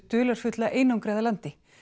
dularfulla einangraða landi